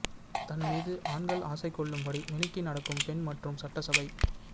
தன் மீது ஆண்கள் ஆசை கொள்ளும்படி மினுக்கி நடக்கும் பெண் மற்றும் சட்டசபை